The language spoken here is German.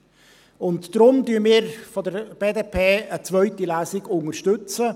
Daher unterstützen wir von der BDP eine zweite Lesung.